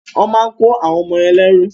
Wọ́n máa kọ́ àwọn ọmọ yẹn lẹ́rú.